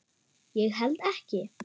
Ég held ekki.